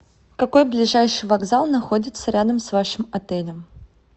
какой ближайший вокзал находится рядом с вашим отелем